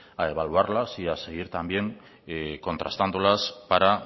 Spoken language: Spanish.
a evaluarlas y a seguir también contrastándolas para